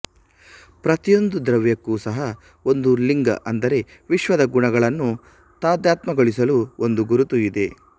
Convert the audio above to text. ಪ್ರತಿಯೊಂದು ದ್ರವ್ಯಕ್ಕೂ ಸಹ ಒಂದು ಲಿಂಗಅಂದರೆ ವಿಶ್ವದ ಗುಣಗಳನ್ನು ತಾದಾತ್ಮ್ಯಗೊಳಿಸಲು ಒಂದು ಗುರುತುಇದೆ